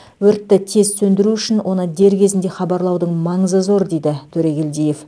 өртті тез сөндіру үшін оны дер кезінде хабарлаудың маңызы зор дейді төрегелдиев